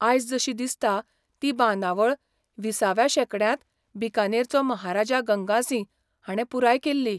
आयज जशी दिसता ती बांदावळ विसाव्या शेंकड्यांत बीकानेरचो महाराजा गंगासिंह हाणें पुराय केल्ली.